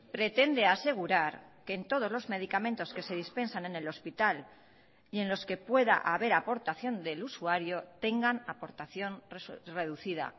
pretende asegurar que en todos los medicamentos que se dispensan en el hospital y en los que pueda haber aportación del usuario tengan aportación reducida